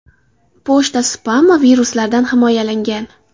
Pochta spam va viruslardan himoyalangan.